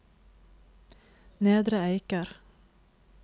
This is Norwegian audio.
Nedre Eiker